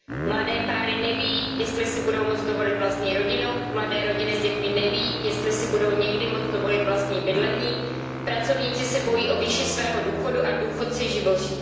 Mladé páry neví, jestli si budou moci dovolit vlastní rodinu, mladé rodiny s dětmi neví, jestli si budou někdy moci dovolit vlastní bydlení, pracovníci se bojí o výši svého důchodu a důchodci živoří.